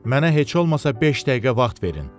Mənə heç olmasa beş dəqiqə vaxt verin.